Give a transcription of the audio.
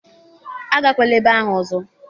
Agakwala ebe ahụ ọzọ